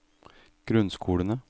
grunnskolene